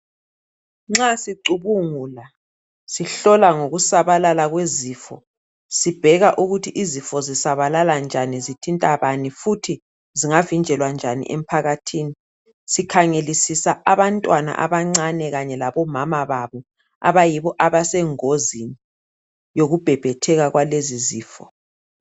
Nxa sicubungula, sihlola ngokusabalala kwezifo, sibheka ukuthi izifo zisabalala njani, zithintani bani, futhi zingavinjelwa njani emphakathini. Sikhangelisisa abantwana abancane kanye labomama babo abayibo abasengozini yokubhebhetheka kwalezizifo